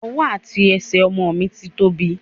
Ọwọ́ àti ẹsẹ̀ ọmọ mi ti ń tóbi.